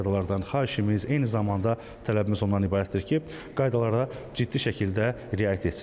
Piyadalardan xahişimiz, eyni zamanda tələbimiz ondan ibarətdir ki, qaydalara ciddi şəkildə riayət etsinlər.